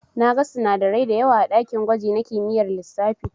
Na gan sinadarai dayawa a dakin gwaji na kimiyyar lissafi.